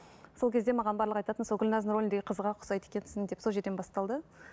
сол кезде маған барлығы айтатын сол гүлназдың рөліндегі қызға ұқсайды екенсің деп сол жерден басталды